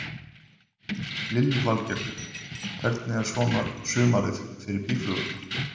Lillý Valgerður: Hvernig er svona sumarið fyrir býflugurnar?